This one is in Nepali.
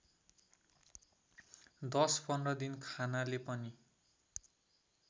१० १५ दिन खानाले पनि